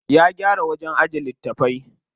Ya gyara wajen ajiye littafai.